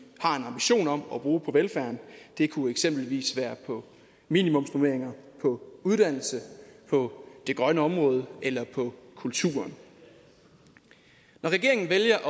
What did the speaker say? har en ambition om at bruge på velfærden det kunne eksempelvis være på minimumsnormeringer på uddannelse på det grønne område eller på kulturen når regeringen vælger at